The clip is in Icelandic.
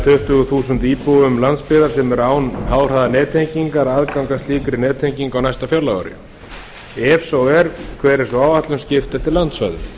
tuttugu þúsund íbúum landsbyggðar sem eru án háhraðanettengingar aðgang að slíkri nettengingu á næsta fjárlagaári ef svo er hver er sú áætlun skipt eftir landsvæðum